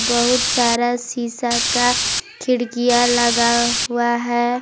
बहुत सारा शीशा का खिड़कियां लगा हुआ है।